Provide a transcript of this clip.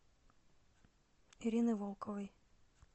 ирины волковой